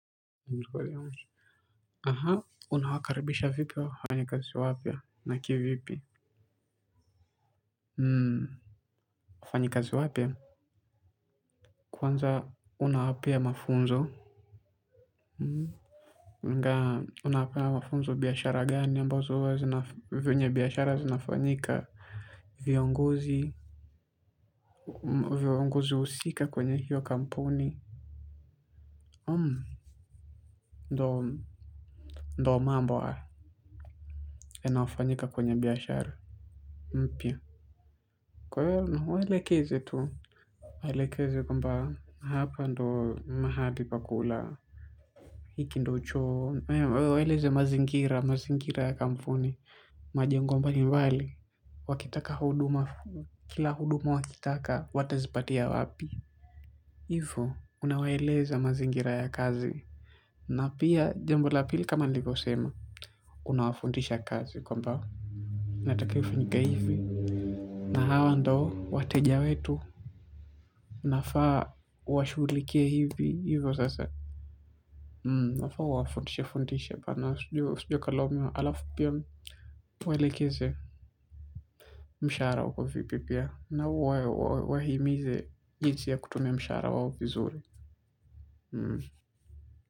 Unawakaribisha vipi wa fanyika zi wapya na kivipi? Wafanyika zi wapya? Kwanza unawapea mafunzo? Huwanga unawapea mafunzo biashara gani ambazo huwa zina, venyebiashara zinafanyika viongozi, viongozi husika kwenye hiyo kampuni. Ndo mambohaya yanayofanyika kwenye biashara. Mpya. Kwahiyowewe, unamwelekeza tu? Aelekezwe kwamba, hapa ndo mahali pakula. Hiki ndo choo, waeleze mazingira, mazingira ya kampuni. Majengombalimbali wakitaka huduma, kila huduma wakitaka, watazipatia wapi. Hivo, unawaeleze mazingira ya kazi. Na pia, jambola pili kama nilivyo sema, unawafundisha kazi kwamba inatakiwaifa nyike hivi. Na hawa ndo, wateja wetu, unafaa, uwashughulikie hivi, hivyo sasa. Unafaa, uwafundishe, fundishe, bana, usije ukalaumiwa, alafu pia, uwaelekeze mshahara uko vipipia, na uwahimize jinsi ya kutumia mshahara wao vizuri.